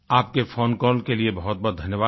आपके phone call के लिए बहुत बहुत धन्यवाद